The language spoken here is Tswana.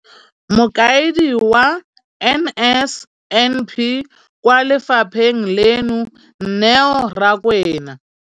Mokaedi wa NSNP kwa lefapheng leno, Neo Rakwena,